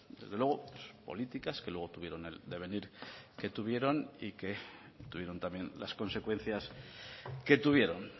desde luego políticas que luego tuvieron el devenir que tuvieron y que tuvieron también las consecuencias que tuvieron